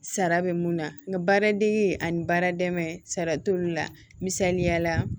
Sara bɛ mun na nka baaradege ani baara dɛmɛ sara t'olu la misaliyala